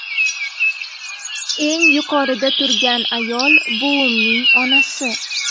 Eng yuqorida turgan ayol buvimning onasi”.